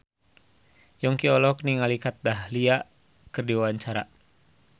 Yongki olohok ningali Kat Dahlia keur diwawancara